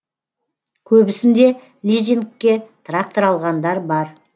көбісінде лизингке трактор алғандар бар